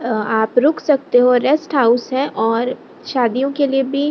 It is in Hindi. अ आप रुक सकते हो रेस्ट हाउस है और शादियों के लिए भी --